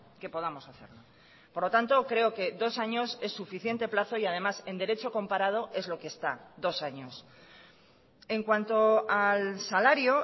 que podamos hacerlo por lo tanto creo que dos años es suficiente plazo y además en derecho comparado es lo que está dos años en cuanto al salario